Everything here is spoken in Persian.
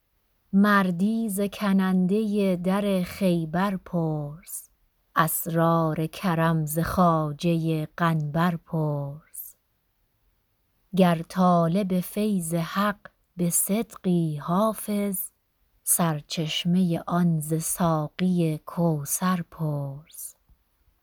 مردی ز کننده در خیبر پرس اسرار کرم ز خواجه قنبر پرس گر طالب فیض حق به صدقی حافظ سر چشمه آن ز ساقی کوثر پرس